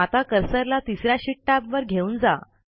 आता कर्सरला तिस या शीट टॅबवर घेऊन जा